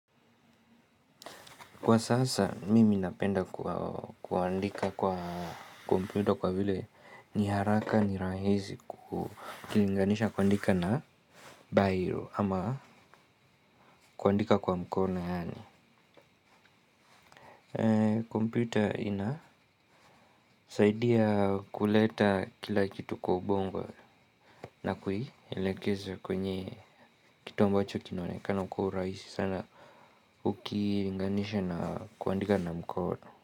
Kwa sasa, mimi napenda kuandika kwa kompyuta kwa vile ni haraka ni rahisi ukinganisha kuandika na by hand ama kuandika kwa mkono yaani kompyuta inasaidia kuleta kila kitu kwa ubongo na kuilekeza kwenye kitu ambacho kinaonekana kwa urahisi sana ukilinganisha na kuandika na mkono.